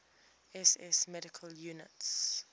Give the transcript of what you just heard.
ss medical units